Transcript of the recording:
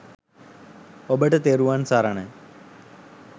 ඔබට තෙරුවන් සරණයි